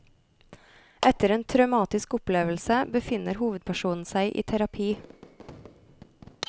Etter en traumatisk opplevelse befinner hovedpersonen seg i terapi.